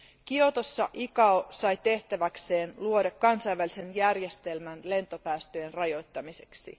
Kiotossa ICAO sai tehtäväkseen luoda kansainvälisen järjestelmän lentopäästöjen rajoittamiseksi.